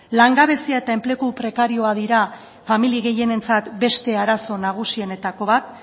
langabezia eta enplegu prekarioak dira familia gehienentzat beste arazo nagusienetako bat